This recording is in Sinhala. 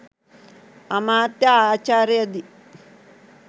අමාත්‍ය ආචාර්ය දි.